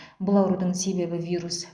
бұл аурудың себебі вирус